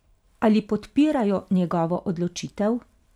Ali podpirajo njegovo odločitev?